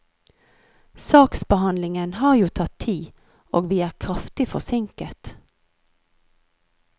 Saksbehandlingen har jo tatt tid, og vi er kraftig forsinket.